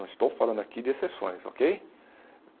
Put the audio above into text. Não estou falando aqui de exceções, okay?